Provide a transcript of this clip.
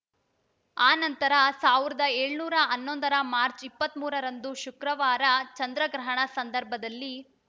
ಆ ನಂತರ ಸಾವಿರದ ಏಳನೂರ ಹನ್ನೊಂದರ ಮಾರ್ಚ ಇಪ್ಪತ್ತ್ ಮೂರರಂದು ಶುಕ್ರವಾರ ಚಂದ್ರಗ್ರಹಣ ಸಂದರ್ಭದಲ್ಲಿ